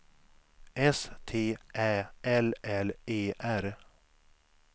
S T Ä L L E R